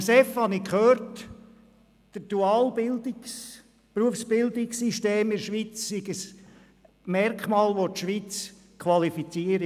Am Swiss Economic Forum (SEF) habe ich gehört, das duale Berufsbildungssystem der Schweiz sei ein Merkmal, welches die Schweiz qualifiziere.